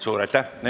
Suur aitäh!